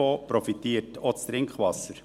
Davon profitiert auch das Trinkwasser.